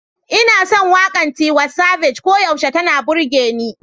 Ina son waƙar Tiwa Savage, koyaushe tana burge ni.